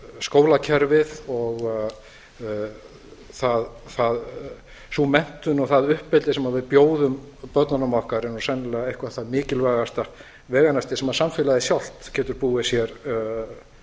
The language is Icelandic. skólakerfið og sú menntun og það uppeldi sem við bjóðum börnunum okkar er sennilega eitthvað það mikilvægasta veganesti sem samfélagið sjálft getur búið sér